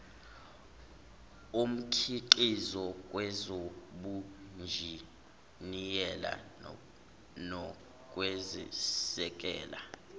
omkhiqizo kwezobunjiniyela nokwesekela